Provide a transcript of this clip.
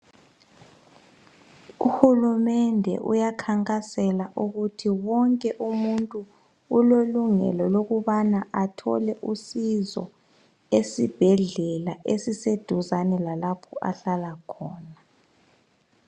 Uhulumende uyakhankasela ukuthi wonke umuntu ulelungelo lokubana athole usizo esibhedlela esiseduzane lalapho ahlala khona.